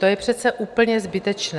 To je přece úplně zbytečné.